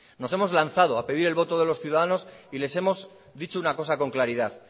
nos hemos lanzado a pedir el voto de los ciudadanos y les hemos dicho una cosa con claridad